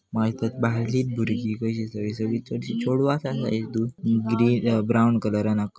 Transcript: माका दिसतात बायलीत भुरगी कशी सगळी सगळी चडशी चोडवात आसा इतून ग्रीन अ ब्रावन कलरान आक --